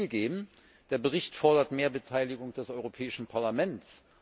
Zugegeben Der Bericht fordert mehr Beteiligung des Europäischen Parlaments.